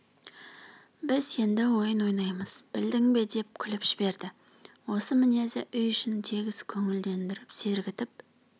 біз енді ойын ойнаймыз білдің бе деп күліп жіберді осы мінезі үй ішін тегіс көңілдендіріп сергітіп